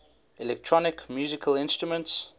electronic musical instruments